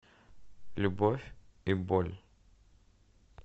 любовь и боль